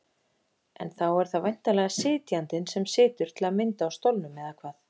En þá er það væntanlega sitjandinn sem situr til að mynda á stólnum, eða hvað?